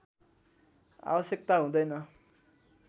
आवश्यकता हुँदैन